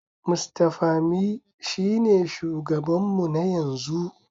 Mr Pami shine shugabanmu na yanzu.